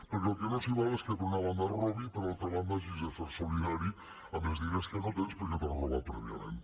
perquè el que no s’hi val és que per una banda es robi i per altra banda hagis de ser solidari amb els diners que no tens perquè t’han robat prèviament